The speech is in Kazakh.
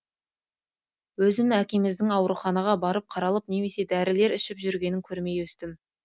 өзім әкеміздің ауруханаға барып қаралып немесе дарілер ішіп жүргенін көрмей өстім